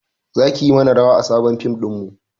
Zaki mana rawa a sabon fim ɗinmu